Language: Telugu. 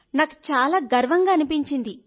నాకు చాలా గర్వంగా అనిపించింది